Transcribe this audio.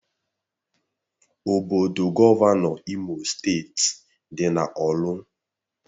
Obodo Gọvanọ Imo steeti dị na ọrlu